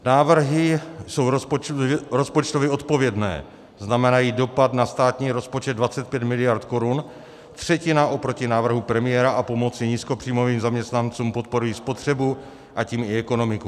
Návrhy jsou rozpočtově odpovědné, znamenají dopad na státní rozpočet 25 miliard korun, třetina oproti návrhu premiéra, a pomoci nízkopříjmovým zaměstnancům, podporují spotřebu, a tím i ekonomiku.